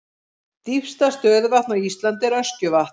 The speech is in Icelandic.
Dýpsta stöðuvatn á Íslandi er Öskjuvatn.